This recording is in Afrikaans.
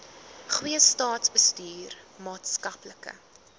goeie staatsbestuur maatskaplike